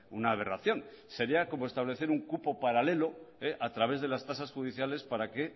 una aberración sería como establecer un cupo paralelo a través de las tasas judiciales para que